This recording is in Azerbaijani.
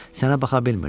Sənə baxa bilmirdim.